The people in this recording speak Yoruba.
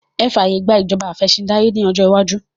Ẹ fàyè gbà ìjọba afẹ̀sìndárí ní ọjọ́ iwájú!